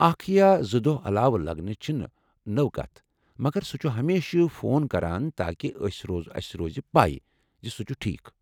اکھ یا زٕ دۄہہ علاوٕ لگنہٕ چھنہٕ نٔوٚۍ كتھ ،، مگر سُہ چھُ ہمیشہِ فون کٔران تاكہِ اسہِ روزِ پَے زِ سُہ چُھ ٹھیكھ ۔